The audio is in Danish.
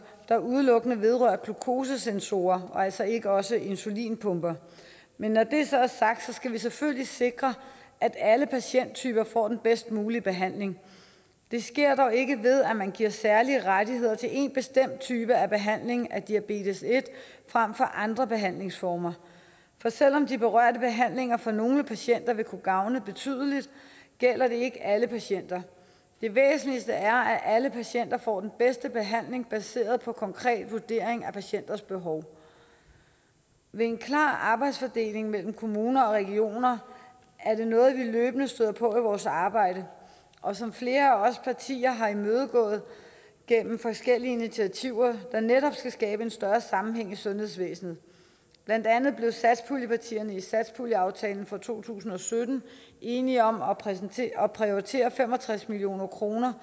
der udelukkende vedrører glukosesensorer og altså ikke også insulinpumper men når det så er sagt skal vi selvfølgelig sikre at alle patienttyper får den bedst mulige behandling det sker dog ikke ved at man giver særlige rettigheder til en bestemt type af behandling af diabetes en frem for andre behandlingsformer for selv om de berørte behandlinger for nogle patienter vil kunne gavne betydeligt gælder det ikke alle patienter det væsentligste er at alle patienter får den bedste behandling baseret på en konkret vurdering af patientens behov ved en klar arbejdsfordeling mellem kommuner og regioner er det noget vi løbende støder på i vores arbejde og som flere af os partier har imødegået gennem forskellige initiativer der netop skal skabe en større sammenhæng i sundhedsvæsenet blandt andet blev satspuljepartierne i satspuljeaftalen for to tusind og sytten enige om at prioritere prioritere fem og tres million kroner